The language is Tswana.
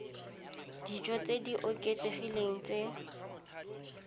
dijo tse di oketsegileng tse